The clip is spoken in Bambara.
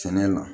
Sɛnɛ la